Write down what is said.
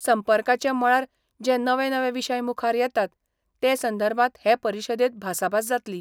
संपर्काचे मळार जे नवे नवे विशय मुखार येतात ते संदर्भात हे परिशदेंत भासाभास जातली.